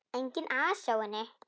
Enginn asi á henni.